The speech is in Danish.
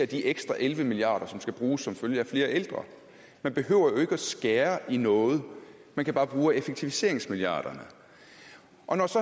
de ekstra elleve milliard kr som skal bruges som følge at flere ældre man behøver ikke at skære ned noget man kan bare bruge af effektiviseringsmilliarderne